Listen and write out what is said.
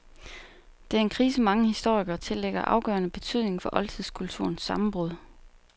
Det er en krise mange historikere tillægger afgørende betydning for oldtidskulturens sammenbrud.